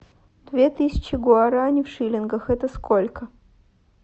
две тысячи гуарани в шиллингах это сколько